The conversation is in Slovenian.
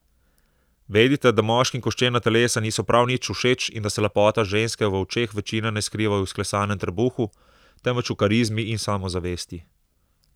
Vedite, da moškim koščena telesa niso prav nič všeč in da se lepota ženske v očeh večine ne skriva v izklesanem trebuhu, temveč v karizmi in samozavesti.